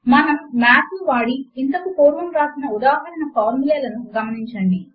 మనము మాత్ ను వాడి ఇంతకు పూర్వము వ్రాసిన ఉదాహరణ ఫార్ములే లను గమనించండి